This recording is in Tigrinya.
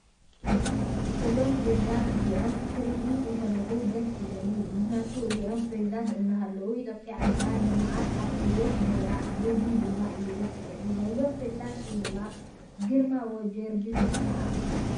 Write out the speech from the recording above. እዞም ፕሬዚዳት እዚኦም ክሪኢ እተለኹ ደስ ይብለኒ፤ ምክንያቱ እዚኦም ፕረዚዳት እንዳሃለው ኢትዮጰያ ዓድና ልምዓት ኣብ ዕቤትን ነይራ ብዙይ ድማ እዩ ደስ ዝብለኒ፤ ናይዞም ፕሬዚዳት ሽም ድማ ግርማ ወ/ጀወርግስ ይባሃሉ።